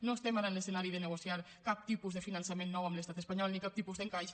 no estem ara en l’escenari de negociar cap tipus de finançament nou amb l’estat espanyol ni cap tipus d’encaix